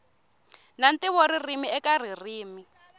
na ntivo ririmi eka ririmi